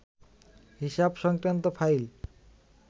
হিসাব সংক্রান্ত ফাইল